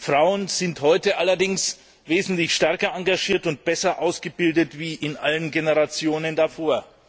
Frauen sind heute allerdings wesentlich stärker engagiert und besser ausgebildet als in allen Generationen davor.